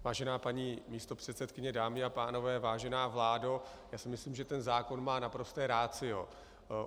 Vážená paní místopředsedkyně, dámy a pánové, vážená vládo, já si myslím, že ten zákon má naprosto ratio.